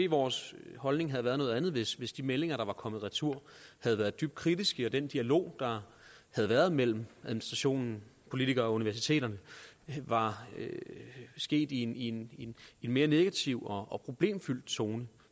vores holdning været noget andet hvis hvis de meldinger der var kommet retur havde været dybt kritiske og den dialog der havde været mellem administrationen politikere og universiteterne var sket i en mere negativ og og problemfyldt tone